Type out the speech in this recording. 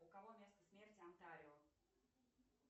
у кого место смерти антарио